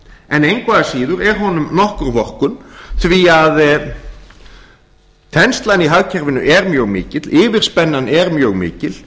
en engu að síður er honum nokkur vorkunn því að að þenslan í hagkerfinu er mjög mikil yfirspennan er mjög mikil